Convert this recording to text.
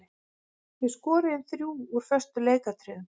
Við skoruðum þrjú úr föstum leikatriðum.